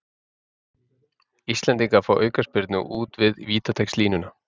Íslendingar fá aukaspyrnu út við vítateigslínuna